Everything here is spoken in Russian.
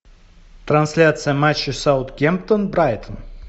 трансляция матча саутгемптон брайтон